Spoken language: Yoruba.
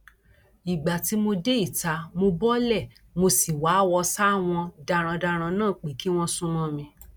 ìgbà tí mo dé ìta mo bọọlẹ mo sì wáwọ sáwọn darandaran náà pé kí wọn sún mọ mi